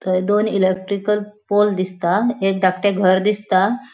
थय दोन electrical pole दिसता एक धाकटे घर दिसता.